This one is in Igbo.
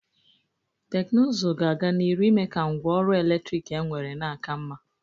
Teknụzụ ga-aga n'iru ime ka ngwa ọrụ eletrik enwere na-aka mma.